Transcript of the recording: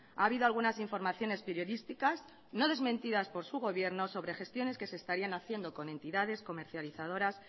ha habido algunas informaciones periodísticas no desmentidas por su gobierno sobre gestiones que se estarían haciendo con entidades comercializadoras